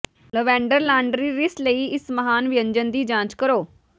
lavender laundry rinse ਲਈ ਇਸ ਮਹਾਨ ਵਿਅੰਜਨ ਦੀ ਜਾਂਚ ਕਰੋ